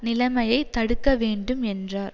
நிலைமையை தடுக்க வேண்டும் என்றார்